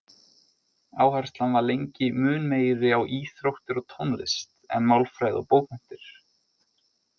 Áherslan var lengi mun meiri á íþróttir og tónlist en málfræði og bókmenntir.